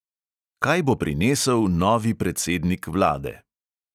Kaj bo prinesel novi predsednik vlade?